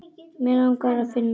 Mig langar að finna þig.